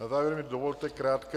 Na závěr mi dovolte krátké -